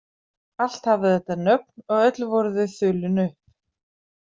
Allt hafði þetta nöfn, og öll voru þau þulin upp.